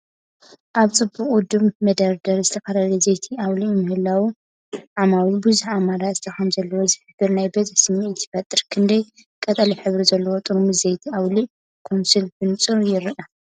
ኣብ ጽቡቕ ውዱብ መደርደሪ ዝተፈላለየ ዘይቲ ኣውሊዕ ምህላው፡ ዓማዊል ብዙሕ ኣማራጺታት ከም ዘለዎም ዝሕብር ናይ ብዝሒ ስምዒት ይፈጥር። ክንደይ ቀጠልያ ሕብሪ ዘለዎም ጥርሙዝ ዘይቲ ኣውሊዕ 'ኮንሱል' ብንጹር ይረኣዩ?